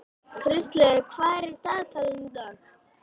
Kristlaugur, hvað er í dagatalinu í dag?